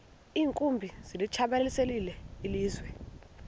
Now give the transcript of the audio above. iinkumbi zilitshabalalisile ilizwe